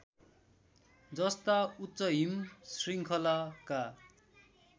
जस्ता उच्चहिम श्रृङ्खलाका